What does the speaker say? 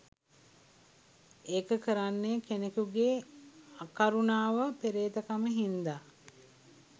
එක කරන්නේ කෙනෙක්ගේ අකරුනාව පෙරේතකම හින්ද